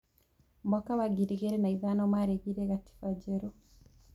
Mwaka wa ngiri igĩrĩ na ithano, maregire gatiba njerũ.